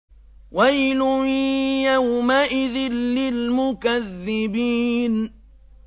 وَيْلٌ يَوْمَئِذٍ لِّلْمُكَذِّبِينَ